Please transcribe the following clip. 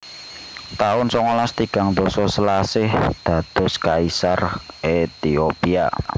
taun songolas tigang dasa Selasih dados Kaisar Ethiopia